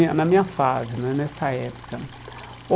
na minha na minha fase né, nessa época.